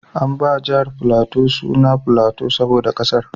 An ba jihar Filato suna Filato saboda ƙasar.